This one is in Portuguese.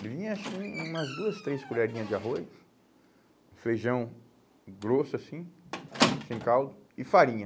Ele vinha, acho que um umas duas, três colherinhas de arroz, feijão grosso, assim, sem caldo, e farinha.